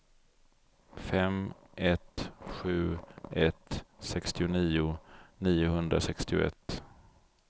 fem ett sju ett sextionio niohundrasextioett